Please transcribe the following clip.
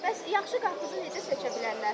Bəs yaxşı qarpızı necə seçə bilərlər?